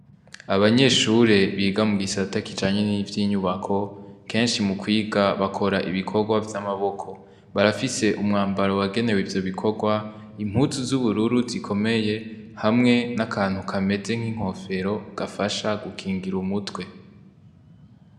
Abanyeshure biga mw'isata kijanye n'ivyo inyubako kenshi mu kwiga bakora ibikorwa vy'amaboko barafise umwambaro wagenewe ivyo bikorwa impuzu z'ubururu zikomeye hamwe n'akantu kameze nk'inkofero gafasha gukingira umutwe.